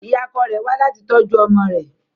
Ìyá ọkọ rẹ̀ wá láti tọ́jú ọmọ rẹ